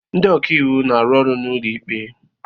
Ndị ọka iwu na-arụ ọrụ n'ụlọ ikpe